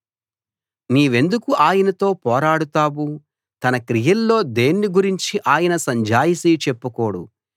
నీవెందుకు ఆయనతో పోరాడతావు తన క్రియల్లో దేన్ని గురించీ ఆయన సంజాయిషీ చెప్పుకోడు